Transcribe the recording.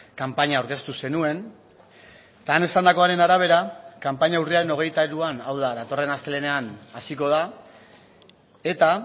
kanpaina aurkeztu zenuen eta han esandakoaren arabera kanpaina urriaren hogeita hiruan hau da datorren astelehenean hasiko da eta